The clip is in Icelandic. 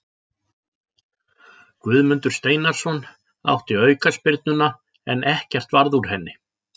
Guðmundur Steinarsson átti aukaspyrnuna en ekkert varð úr henni.